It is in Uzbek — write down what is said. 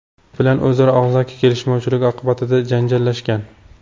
bilan o‘zaro og‘zaki kelishmovchilik oqibatida janjallashgan.